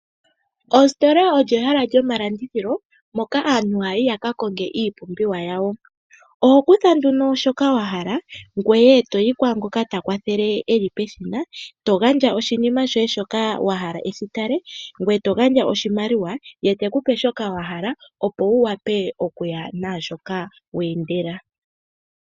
Ositola olyo ehala lyomalandithilo moka aantu haya yi yaka konge iipumbiwa yawo, oho kutha nduno shoka wa hala ngwe eto goka ta kwatele eli peshina to gandja shinima shoye shoka wahala eshi tale ngwe eto gandja oshimaliwa ye etekupe shoka wa hala opo wu wape okuya nashoka we endela.